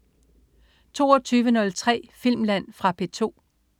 22.03 Filmland. Fra P2